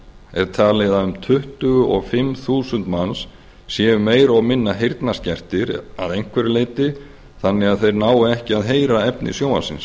er talið að um tuttugu og fimm þúsund manns séu meira og minna heyrnarskertir að einhverju leyti þannig að þeir nái ekki að heyra efni sjónvarpsins